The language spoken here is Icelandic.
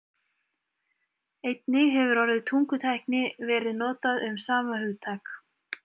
Einnig hefur orðið tungutækni verið notað um sama hugtak.